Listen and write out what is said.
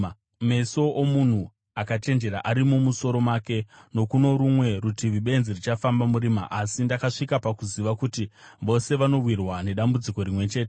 Meso omunhu akachenjera ari mumusoro make, nokuno rumwe rutivi benzi richifamba murima; asi ndakasvika pakuziva kuti vose vanowirwa nedambudziko rimwe chete.